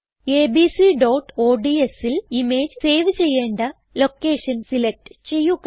abcodsൽ image save ചെയ്യേണ്ട location select ചെയ്യുക